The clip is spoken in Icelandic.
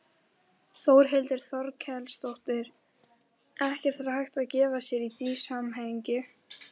Þórhildur Þorkelsdóttir: Ekkert hægt að gefa sér í því samhengi?